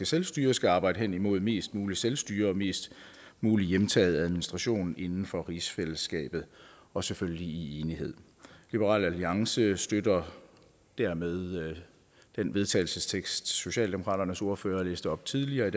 selvstyre skal arbejde henimod mest muligt selvstyre og mest mulig hjemtaget administration inden for rigsfællesskabet og selvfølgelig i enighed liberal alliance støtter dermed den vedtagelsestekst som socialdemokratiets ordfører læste op tidligere